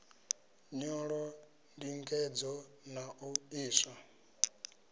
nyolo ndingedzo na u iswa